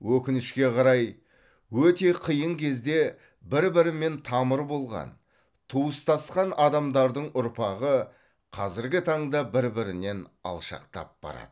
өкінішке қарай өте қиын кезде бір бірімен тамыр болған туыстасқан адамдардың ұрпағы қазіргі таңда бір бірінен алшақтап барады